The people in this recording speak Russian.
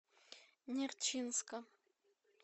нерчинска